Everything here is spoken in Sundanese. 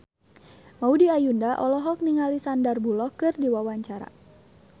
Maudy Ayunda olohok ningali Sandar Bullock keur diwawancara